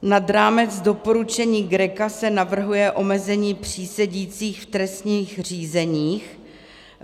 Nad rámec doporučení GRECO se navrhuje omezení přísedících v trestních řízeních.